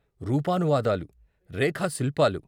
రూపానువాదాలు, రేఖా శిల్పాలు.